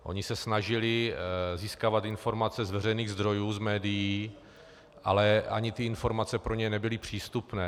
Oni se snažili získávat informace z veřejných zdrojů, z médií, ale ani ty informace pro ně nebyly přístupné.